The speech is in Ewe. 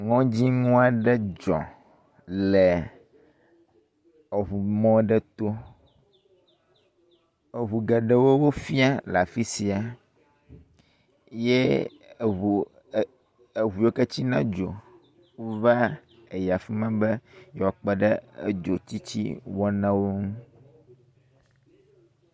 Ŋudzinu aɖe dzɔ le eŋumɔ aɖe to. Eŋu geɖewo fia le afi sia ye eŋu, eŋu yiwo ke tsina dzo wova hã yi afi ma be yewoa kpe ɖe edzo tsitsi wɔnawo ŋu.